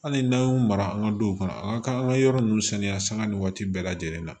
Hali n'an y'u mara an ka duw kɔnɔ an ka kan ka yɔrɔ ninnu saniya sanga nin waati bɛɛ lajɛlen na